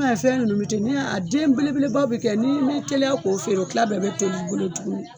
fɛn ninnu bɛ ten ni y'a den bele belebaw bɛ kɛ ye n'i m'i teliya k'o feere o kila bɛɛ bɛ bolo tuguni.